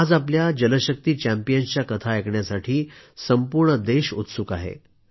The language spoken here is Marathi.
आज आपल्या जलशक्ती चँपियन्सच्या कथा ऐकण्यासाठी संपूर्ण देश उत्सुक आहे